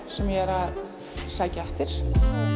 sem ég er að sækja eftir